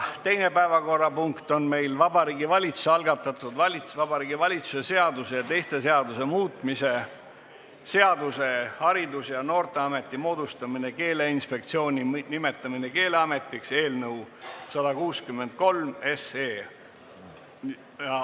Teine päevakorrapunkt on Vabariigi Valitsuse algatatud Vabariigi Valitsuse seaduse ja teiste seaduste muutmise seaduse eelnõu 163.